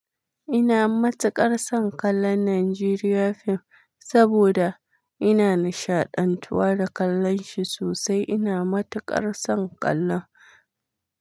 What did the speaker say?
Ina matuƙar son kallon Nigerian film saboda ina nishaɗantuwa da kallon shi sosai. Ina matuƙar son kallon.